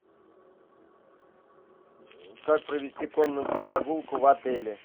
как провести конную прогулку в отеле